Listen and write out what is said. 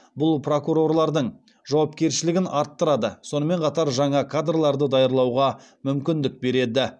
бұл прокурорлардың жауапкершілігін арттырады сонымен қатар жаңа кадрларды даярлауға мүмкіндік береді